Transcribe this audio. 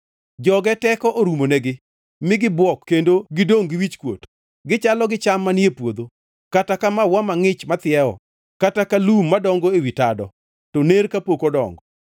Joge teko orumonegi, mi gibuok kendo gidongʼ gi wichkuot. Gichalo gi cham manie puodho, kata ka maua mangʼich mathiewo, kata ka lum madongo ewi tado, to ner kapok odongo.